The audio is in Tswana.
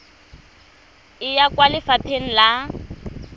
e ya kwa lefapha la